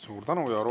Suur tänu!